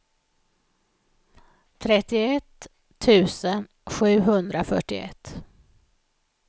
trettioett tusen sjuhundrafyrtioett